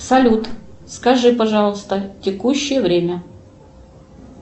салют скажи пожалуйста текущее время